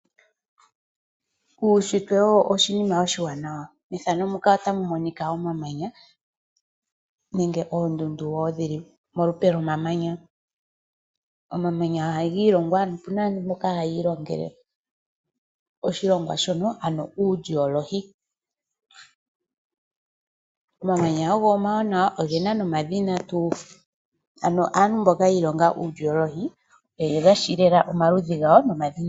Uushitwe owo oshinima oshiwanawa. Omamanya nenge oondundu dhili molupe lwomamanya. Omamanya oha giilongwa kaantu mboka hayi ilongele oshilongwa shoka uugiolohi. Omawanawa ogena omadhina, aantu mboka yi ilongela uugiolohi oyeshi omadhina gawo.